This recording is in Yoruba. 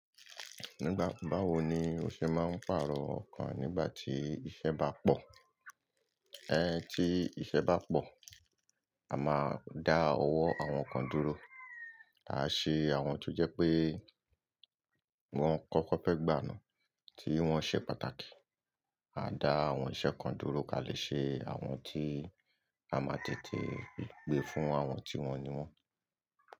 Nígbà- báwo ni ó ṣe máa ń pàrọ̀ ọkan nígbà tí iṣẹ́ bá pọ̀? Ẹ́, tí iṣẹ́ bá pọ̀, a máa dá ọwọ́ àwọn kan dúró. A á ṣe àwọn tó jẹ́ pé wọ́n kọ́kọ́ fẹ́ gbà na tí wọ́n ṣe pàtàkì. A dá àwọn iṣẹ́ kan dúró, ká lè ṣe àwọn tí a máa tètè gbé fún àwọn tí wọ́n ni wọ́n.